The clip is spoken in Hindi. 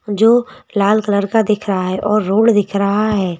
जो लाल कलर दिख रहा का है और रोड दिख रहा है।